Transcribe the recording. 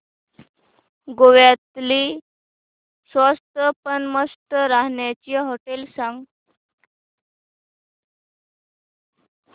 गोव्यातली स्वस्त पण मस्त राहण्याची होटेलं सांग